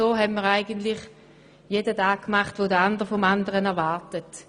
Somit tut eigentlich jeder das, was der andere von ihm erwartet.